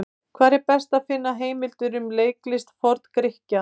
Hvar er best að finna heimildir um leiklist Forn-Grikkja?